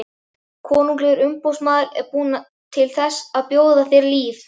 Konunglegur umboðsmaður er kominn til þess að bjóða þér líf.